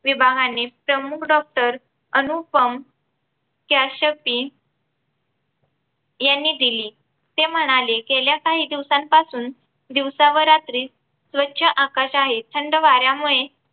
विभागाने प्रमुख समूह doctor अनुप यांनी दिली ते म्हणाले. गेल्या काही दिवसांपासून दिवसा व रात्री स्वच्छ आकाश आहे थंड वाऱ्यामुळे.